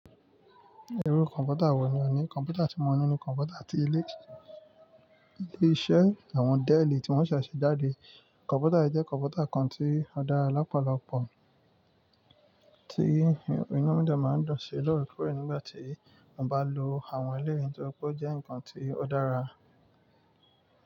Irú kọ̀ǹpútà wọ̀ ní ọ ní, kọ̀ǹpútà tí mo ní nínú kọ̀ǹpútà ti ilé-iṣẹ́ àwọn Dell tí wọ́n ṣẹ̀ṣẹ̀ jáde. Kọ̀ǹpútà yí jẹ́ kọ̀ǹpútà kan tí ó dára lọ́pọ̀lọpọ̀ tí inú mi dè máa n dùn ṣí lóorekóòré nígbà tí mọ bá lọ àwọn eléyìí nítorípé ó jẹ́ ǹkan tí ó dára.